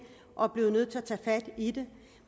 og er blevet nødt til at tage fat i det